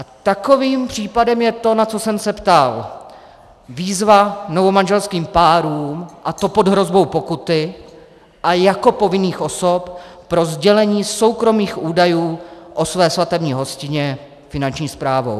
A takovým případem je to, na co jsem se ptal - výzva novomanželským párům, a to pod hrozbou pokuty a jako povinných osob pro sdělení soukromých údajů o své svatební hostině, Finanční správou.